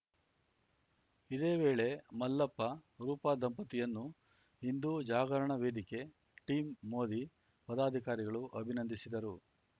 ಇದೇ ವೇಳೆ ಮಲ್ಲಪ್ಪ ರೂಪ ದಂಪತಿಯನ್ನು ಹಿಂದೂ ಜಾಗರಣ ವೇದಿಕೆ ಟೀಂ ಮೋದಿ ಪದಾಧಿಕಾರಿಗಳು ಅಭಿನಂದಿಸಿದರು